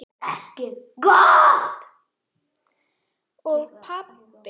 Og pabbi!